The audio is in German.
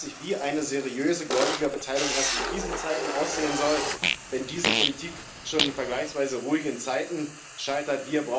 Man fragt sich, wie eine seriöse Gläubigerbeteilung erst in Krisenzeiten aussehen soll, wenn diese Politik schon in vergleichsweise ruhigen Zeiten scheitert.